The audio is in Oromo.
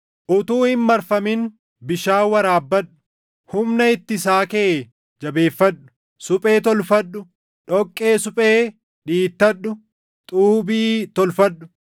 Utuu hin marfamin bishaan waraabbadhu; humna hittisaa kee jajjabeeffadhu! Suphee tolfadhu; dhoqqee suphee dhiittadhu; xuubii tolfadhu.